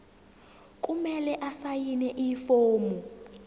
kumele asayine ifomu